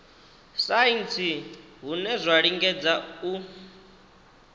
saintsi hune zwa lingedza u